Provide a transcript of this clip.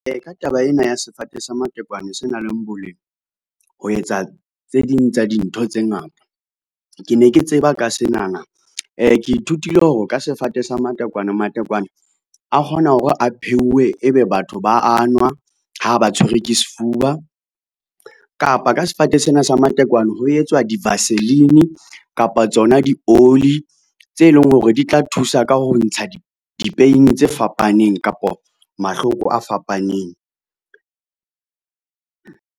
Ka taba ena ya sefate sa matekwane se nang le boleng, ho etsa tse ding tsa dintho tse ngata. Ke ne ke tseba ka senana ke ithutile hore ka sefate sa matekwane, matekwane a kgona hore a pheuwe, ebe batho ba a nwa ha ba tshwerwe ke sefuba, kapa ka sefate sena sa matekwane ho etswa di-vaseline kapa tsona dioli tse leng hore di tla thusa ka ho ntsha di-pain tse fapaneng kapa mahloko a fapaneng.